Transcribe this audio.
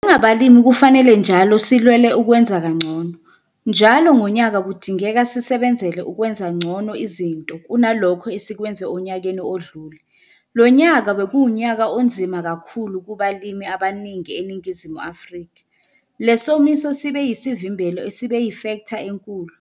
Njengabalimi kufanele njalo silwele ukwenza kangcono. Njalo ngonyaka kudingeka sisebenzele ukwenza ngcono izinto kunalokho esikwenze onyakeni odlule. Lonyaka bekuwunyaka onzima kakhulu kubalimi abaningi eNingizimu Afrika. Le somiso sibe yisivimbelo esibe yifektha enkulu.